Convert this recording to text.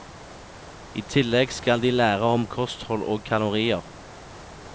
I tillegg skal de lære om kosthold og kalorier.